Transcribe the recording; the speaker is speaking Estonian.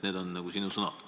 " Need on sinu sõnad.